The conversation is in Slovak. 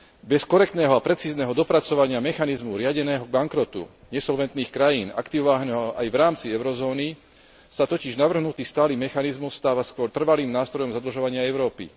Bez korektného a precízneho dopracovania mechanizmu riadeného bankrotu nesolventných krajín, aktivovaného aj v rámci eurozóny, sa totiž navrhnutý stály mechanizmus stáva skôr trvalým nástrojom zadlžovania Európy.